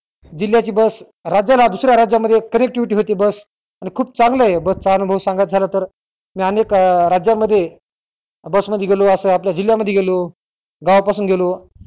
जिल्ह्याची बस राज्याला दुसऱ्या राज्यामध्ये connectivity होती बस आणि खूप चांगलंय बस चा अनुभव सांगायचा तर मी अनेक अं राज्यामध्ये बस मध्ये गेलो अस जिल्यामध्ये मध्ये गेलो गावापासून गेलो.